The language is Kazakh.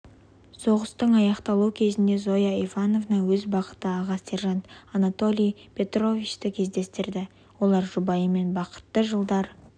соғыстың аяқталу кезінде зоя ивановна өз бақыты аға сержант анатолий петровичті кездестірді олар жұбайымен бақытты жылдар